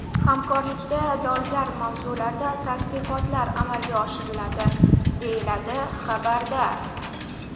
Hamkorlikda dolzarb mavzularda tadqiqotlar amalga oshiriladi”, deyiladi xabarda.